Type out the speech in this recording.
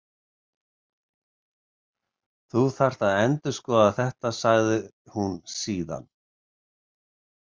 Þú þarft að endurskoða þetta, sagði hún síðan.